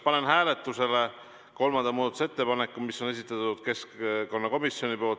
Panen hääletusele kolmanda muudatusettepaneku, mille on esitanud keskkonnakomisjon.